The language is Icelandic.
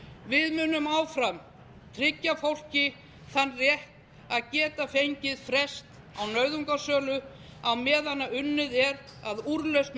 við munum áfram tryggja fólki þann rétt að geta fengið frest á nauðungarsölu á meðan unnið er að úrlausn